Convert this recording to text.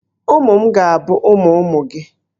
Ụmụ m ga-abụ ụmụ ụmụ gị.